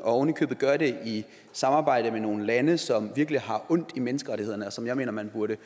og ovenikøbet gør det i samarbejde med nogle lande som virkelig har ondt i menneskerettighederne og som jeg mener man burde